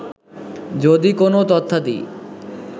যদি কোন তথ্যাদি